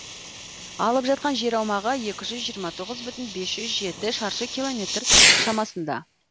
алып жатқан жер аумағы екі жүз жиырма тоғыз бүтін бес жүз жеті шаршы километр шамасында